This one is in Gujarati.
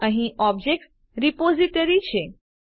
અહીં ઓબ્જેક્ટ રિપોઝિટરી છે